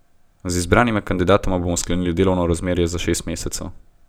Z izbranima kandidatoma bodo sklenili delovno razmerje za šest mesecev.